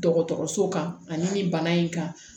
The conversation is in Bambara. Dɔgɔtɔrɔso kan ani nin bana in kan